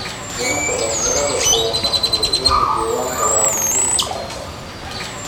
Wacyigelinta dhalinyarada ee mashruucyada deegaanka waa muhiim mustaqbalka.